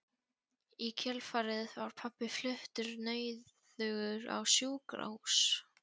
Í kjölfarið var pabbi fluttur nauðugur á sjúkrahús.